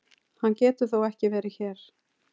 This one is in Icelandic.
Hann getur þó ekki verið hér!